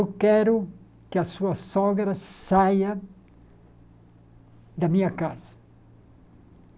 Eu quero que a sua sogra saia da minha casa.